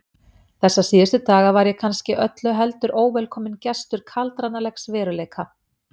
Þessa síðustu daga var ég kannski öllu heldur óvelkominn gestur kaldranalegs veruleika.